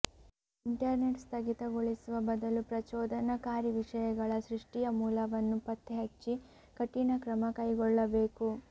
internet ಸ್ಥಗಿತಗೊಳಿಸುವ ಬದಲು ಪ್ರಚೋದನಕಾರಿ ವಿಷಯಗಳ ಸೃಷ್ಟಿಯ ಮೂಲವನ್ನು ಪತ್ತೆಹಚ್ಚಿ ಕಠಿನ ಕ್ರಮ ಕೈಗೊಳ್ಳಬೇಕು